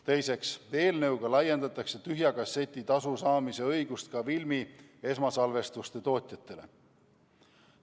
Teiseks, eelnõuga laiendatakse tühja kasseti tasu saamise õigust ka filmi esmasalvestuse tootjatele.